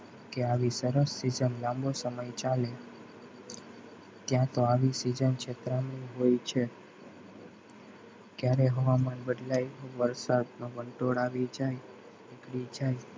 કે આવીશ સરસ season લાંબો સમય ચાલે ક્યાં તો આવી સરસ season હોય છે ક્યારે હવામાન બદલાય વંટોળ આવી જાય કે આવી જાય.